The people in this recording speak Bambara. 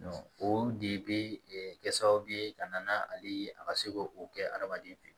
o de bɛ kɛ sababu ye ka na ale ka se ko o kɛ adamaden fɛ